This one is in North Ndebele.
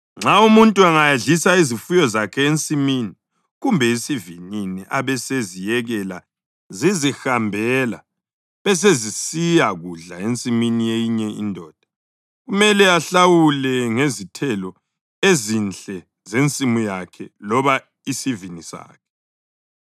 Nxa umuntu angayadlisa izifuyo zakhe ensimini kumbe esivinini abeseziyekela zizihambela besezisiya kudla ensimini yeyinye indoda, kumele ahlawule ngezithelo ezinhle zensimu yakhe loba isivini sakhe.